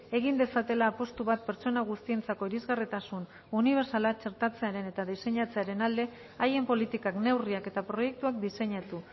egin dezatela apustu bat pertsona guztientzako irisgarritasun unibertsala txertatzearen eta diseinatzearen alde haien politikak neurriak eta proiektuak diseinatu